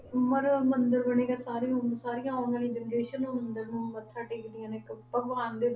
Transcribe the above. ਉਮਰ ਮੰਦਰ ਬਣੇਗਾ, ਸਾਰੀ ਉਮ~ ਸਾਰੀਆਂ ਆਉਣ ਵਾਲੀਆਂ generation ਉਹ ਮੰਦਿਰ ਨੂੰ ਮੱਥਾ ਟੇਕਦੀਆਂ ਨੇ ਇੱਕ ਭਗਵਾਨ ਦੇ